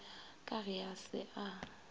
ka ge a se a